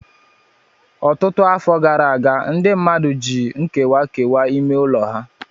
Ọtụtụ afọ gara aga, ndị mmadụ ji ihe nkewa kewaa ime ụlọ ha.